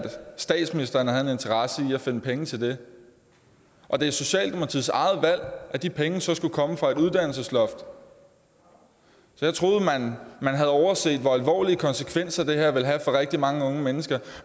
statsministeren havde en interesse i at finde penge til det og det er socialdemokratiets eget valg at de penge så skulle komme fra et uddannelsesloft jeg troede man havde overset hvor alvorlige konsekvenser det her vil have for rigtig mange unge mennesker